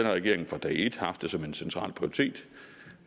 regering fra dag et har haft det som en central prioritet